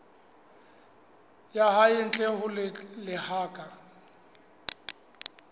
ya hae ntle ho lebaka